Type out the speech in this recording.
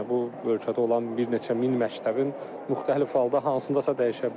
Yəni bu ölkədə olan bir neçə min məktəbin müxtəlif halda hansındasa dəyişə bilər.